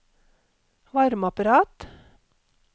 varmeapparat